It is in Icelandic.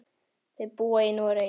Þau búa í Noregi.